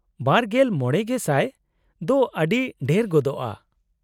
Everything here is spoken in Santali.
-᱒᱕,᱐᱐᱐/ᱼ ᱫᱚ ᱟᱹᱰᱤ ᱰᱷᱮᱨ ᱜᱚᱫᱚᱜᱼᱟ ᱾